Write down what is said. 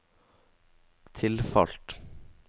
tilfalt